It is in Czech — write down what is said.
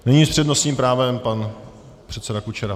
Nyní s přednostním právem pan předseda Kučera.